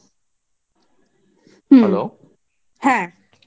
হ্যাঁ.